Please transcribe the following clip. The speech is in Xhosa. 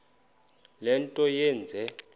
le nto yenze